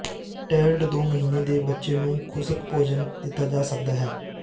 ਟੇਲਡ ਦੋ ਮਹੀਨੇ ਦੇ ਬੱਚੇ ਨੂੰ ਖੁਸ਼ਕ ਭੋਜਨ ਦਿੱਤਾ ਜਾ ਸਕਦਾ ਹੈ